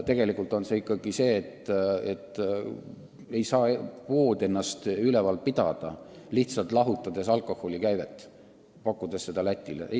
Tegelikult on väga suur probleem ikkagi see, et poed ei saa ennast üleval pidada, kui neil jääb tulemata alkoholikäive, mida me pakume Lätile.